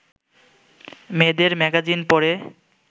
মেয়েদের ম্যাগাজিন পড়ে